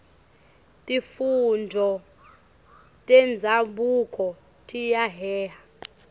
tifundvo tenzabuko tiyaheha